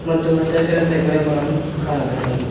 ಮತ್ತು ಹಚ್ಚ ಹಸಿರಂತ ಗಿಡ ಮರಗಳನ್ನು ಕಾಣಬಹುದಾಗಿದೆ.